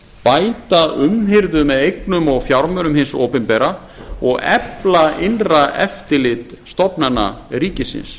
bæta umhirðu með eignum og fjármunum hins opinbera og efla innra eftirlit stofnana ríkisins